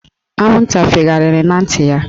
Anwụnta fegharịrị na ntị ya